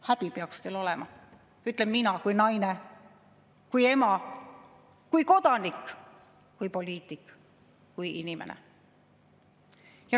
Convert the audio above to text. Häbi peaks teil olema, ütlen mina kui naine, kui ema, kui kodanik või poliitik või kui inimene.